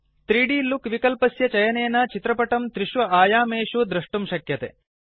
3द् look विक्लपस्य चयनेन चित्रपटं त्रिषु आयामेषु द्रष्टुं शक्यते